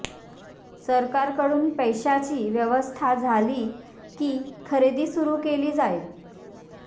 सरकारकडून पैशाची व्यवस्था झाली की खरेदी सुरू केली जाईल